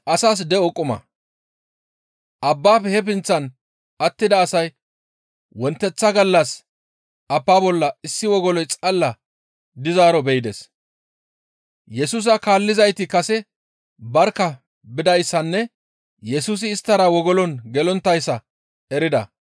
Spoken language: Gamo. Abbaafe he pinththan attida asay wonteththa gallas abbaa bolla issi wogoloy xalla dizaaro be7ides. Yesusa kaallizayti kase barkka bidayssanne Yesusi isttara wogolon gelonttayssa erida.